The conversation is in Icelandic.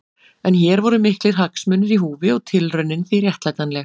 En hér voru miklir hagsmunir í húfi og tilraunin því réttlætanleg.